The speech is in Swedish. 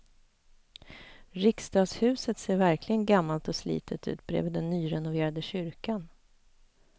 Riksdagshuset ser verkligen gammalt och slitet ut bredvid den nyrenoverade kyrkan.